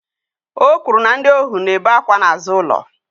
O kwuru na ndị ohu na-ebe akwa n'azụ ụlọ